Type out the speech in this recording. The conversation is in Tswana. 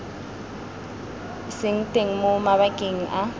seng teng mo mabakeng a